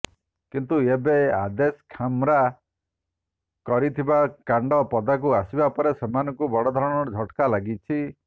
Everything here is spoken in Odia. କିନ୍ତୁ ଏବେ ଆଦେଶ ଖାମ୍ରା କରିଥିବା କାଣ୍ଡ ପଦାକୁ ଆସିବା ପରେ ସେମାନଙ୍କୁ ବଡ଼ଧରଣର ଝଟ୍କା ଲାଗିଛି